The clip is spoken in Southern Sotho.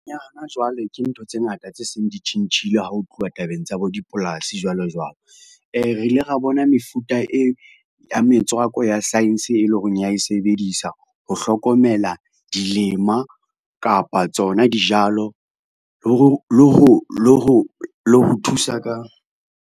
Jwale ke ntho tse ngata tse seng di tjhentjhile ha ho tluwa tabeng tsa bo dipolasi jwalo jwalo. Re ile ra bona mefuta ya metswako ya science, e lo reng ya e sebedisa ho hlokomela dilema kapa tsona dijalo le ho thusa ka.